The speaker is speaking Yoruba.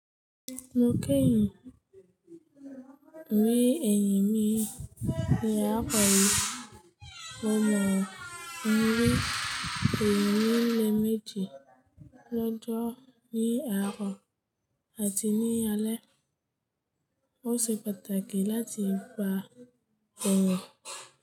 Mo kẹ́yìn rí eyín mi ìyá kọ̀ọ́ mi. Mo mọ ìwé òògùn ilé méjì lọ́jọ́ ní àárọ̀ àti ní alé. Ó ṣe pàtàkì láti gba òògùn.